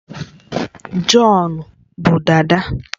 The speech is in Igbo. John bu dada